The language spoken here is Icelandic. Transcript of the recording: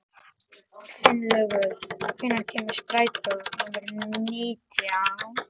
Finnlaugur, hvenær kemur strætó númer nítján?